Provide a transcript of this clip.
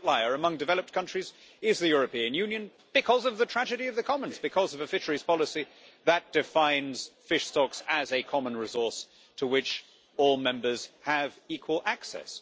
The outlier among developed countries is the European Union because of the tragedy of the commons because of a fisheries policy that defines fish stocks as a common resource to which all members have equal access.